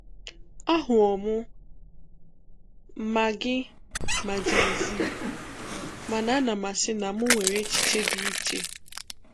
Ahụwo m ma gị ma Jay-Z, mana anam asị na m nwere echiche dị iche.